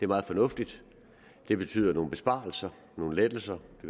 meget fornuftigt det betyder nogle besparelser nogle lettelser